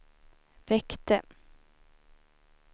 väckte